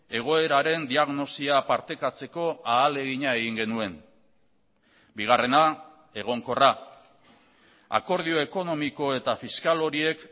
egoeraren diagnosia partekatzeko ahalegina egin genuen bigarrena egonkorra akordio ekonomiko eta fiskal horiek